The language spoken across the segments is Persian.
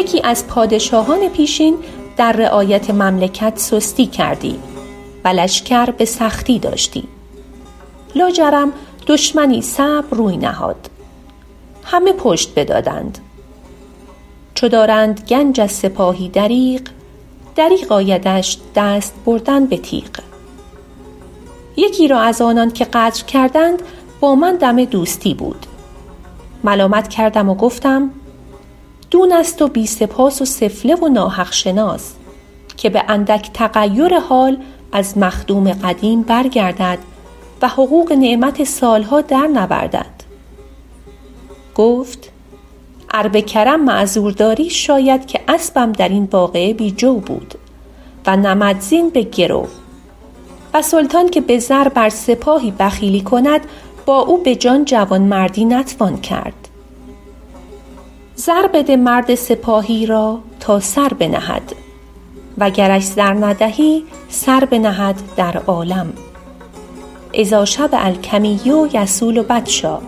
یکی از پادشاهان پیشین در رعایت مملکت سستی کردی و لشکر به سختی داشتی لاجرم دشمنی صعب روی نهاد همه پشت بدادند چو دارند گنج از سپاهی دریغ دریغ آیدش دست بردن به تیغ یکی را از آنان که غدر کردند با من دم دوستی بود ملامت کردم و گفتم دون است و بی سپاس و سفله و ناحق شناس که به اندک تغیر حال از مخدوم قدیم برگردد و حقوق نعمت سال ها در نوردد گفت ار به کرم معذور داری شاید که اسبم در این واقعه بی جو بود و نمدزین به گرو و سلطان که به زر بر سپاهی بخیلی کند با او به جان جوانمردی نتوان کرد زر بده مرد سپاهی را تا سر بنهد و گرش زر ندهی سر بنهد در عالم اذا شبع الکمی یصول بطشا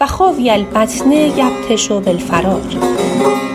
و خاوی البطن یبطش بالفرار